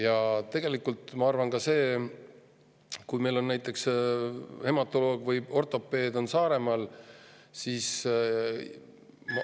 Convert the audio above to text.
Ja tegelikult ma arvan ka, et kui meil on näiteks hematoloog või ortopeed Saaremaal, siis …